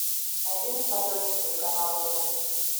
найди на смотрешке телеканал нтв